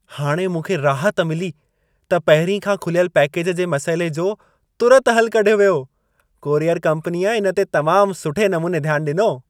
हाणे मूंखे राहत मिली त पहिरीं खां खुलियल पैकेज जे मसइले जो तुरत हलु कढियो वियो। कुरियर कंपनीअ इन ते तमामु सुठे नमूने ध्यान ॾिनो।